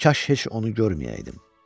Kaş heç onu görməyəydim.